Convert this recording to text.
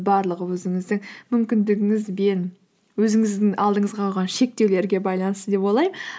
барлығы өзіңіздің мүмкіндігіңіз бен өзіңіздің алдыңызға қойған шектеулерге байланысты деп ойлаймын